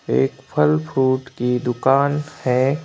एक फल फ्रूट की दुकान है।